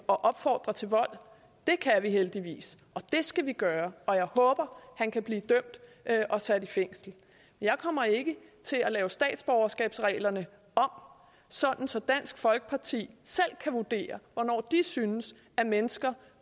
og opfordrer til vold det kan vi heldigvis og det skal vi gøre og jeg håber han kan blive dømt og sat i fængsel jeg kommer ikke til at lave statsborgerskabsreglerne om så så dansk folkeparti selv kan vurdere hvornår de synes at mennesker